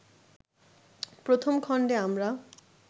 প্রথম খণ্ডে আমরা